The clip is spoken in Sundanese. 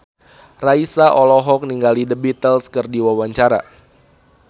Raisa olohok ningali The Beatles keur diwawancara